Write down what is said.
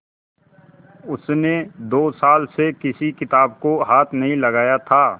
उसने दो साल से किसी किताब को हाथ नहीं लगाया था